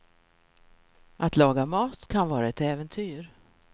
Att laga mat kan vara ett äventyr.